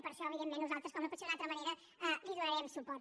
per això evidentment nosaltres com no pot ser d’una altra manera li donarem suport